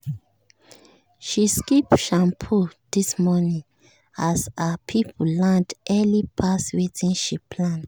she skip shampoo this morning as her people land early pass wetin she plan.